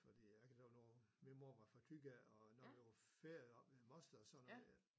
Fordi jeg kan lige love min mor var fra Thy af og når der var ferie oppe ved moster og sådan noget